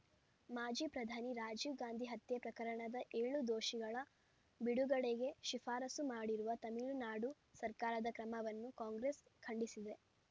ಮಾಜಿ ಪ್ರಧಾನಿ ರಾಜೀವ್‌ ಗಾಂಧಿ ಹತ್ಯೆ ಪ್ರಕರಣದ ಏಳು ದೋಷಿಗಳ ಬಿಡುಗಡೆಗೆ ಶಿಫಾರಸು ಮಾಡಿರುವ ತಮಿಳುನಾಡು ಸರ್ಕಾರದ ಕ್ರಮವನ್ನು ಕಾಂಗ್ರೆಸ್‌ ಖಂಡಿಸಿದೆ